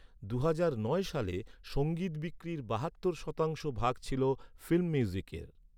দুহাজার নয় সালে, সঙ্গীত বিক্রির বাহাত্তর শতাংশ ভাগ ছিল ফিল্ম মিউজিকের।